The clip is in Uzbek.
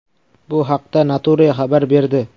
Bu haqda Nature xabar berdi .